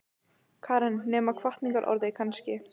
Karen: Nema hvatningarorð kannski?